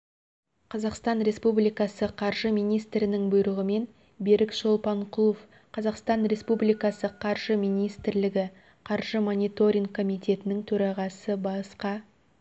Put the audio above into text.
қазақстан республикасы қаржы министрінің бұйрығымен берік шолпанкұлов қазақстан республикасы қаржы министрлігі қаржы мониторинг қомитетінің төрағасы басқа